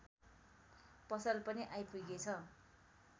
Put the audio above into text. पसल पनि आइपुगेछ